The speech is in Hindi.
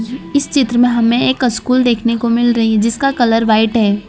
इस चित्र में हमें एक अस्कुल देखने को मिल रही जिसका कलर व्हाइट है।